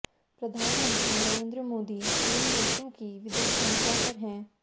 प्रधानमंत्री नरेंद्र मोदी तीन देशों की विदेश यात्रा पर हैं